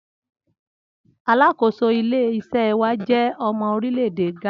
Alákòóso ilé is̩é̩ wa jé̩ o̩mo̩ orílè̩ èdè Gánà